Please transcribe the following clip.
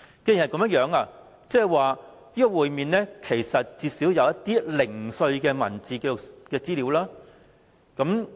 既然如此，政府至少備有會面的零碎文字紀錄資料；這跟